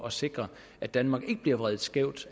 at sikre at danmark ikke bliver vredet skævt